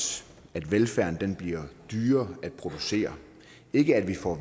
at velfærden bliver dyrere at producere ikke at vi får